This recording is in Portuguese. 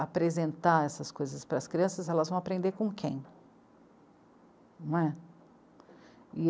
apresentar essas coisas para as crianças, elas vão aprender com quem? não é?